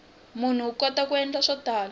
munhu u kota ku endla swo tala